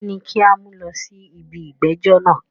Kíni a o mú lọ sí ibi ìgbẹ́jọ́ náà?